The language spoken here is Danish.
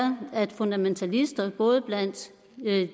at fundamentalister både blandt